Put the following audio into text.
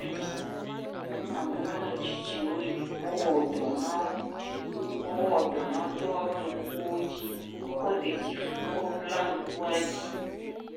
Kɔdzi ame nyɔnu ametsitsiwo yi wowɔ dɔ na wo, wowɔ dɔ na wo tɔ woƒe ŋkuwo dzi, wokɔ ɖetifu kɔ bla ŋkua dzi